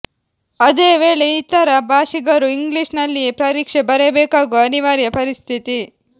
ಅದೇ ವೇಳೆ ಇತರ ಭಾಷಿಗರು ಇಂಗ್ಲಿಷಿನಲ್ಲಿಯೇ ಪರೀಕ್ಷೆ ಬರೆಯಬೇಕಾಗುವ ಅನಿವಾರ್ಯ ಪರಿಸ್ಥಿತಿ